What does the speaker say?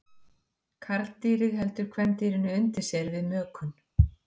Karldýrið heldur kvendýrinu undir sér við mökun.